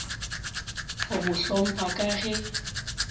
go mo hlompha ka ge